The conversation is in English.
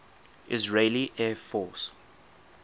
israeli air force